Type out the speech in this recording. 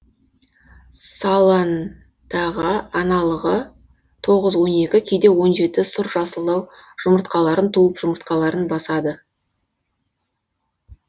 салындаға аналығы тоғыз он екі кейде он жеті сұр жасылдау жұмыртқаларын туып жұмыртқаларын басады